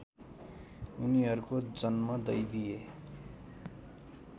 उनीहरूको जन्म दैवीय